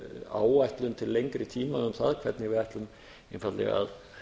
áætlun til lengri tíma um það hvernig við ætlum einfaldlega að